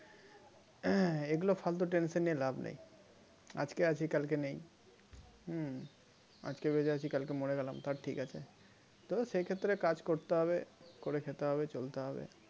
এগুলো ফালতু tension নিয়ে লাভ নেই আজকে আছি কালকে নেই হম আজকে বেঁচে আছি কালকে মরে গেলাম তার ঠিক আছে তবে সেক্ষেত্রে কাজ করতে হবে করে খেতে হবে চলতে হবে